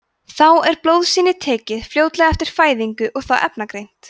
þá er blóðsýni tekið fljótlega eftir fæðingu það efnagreint